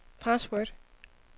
password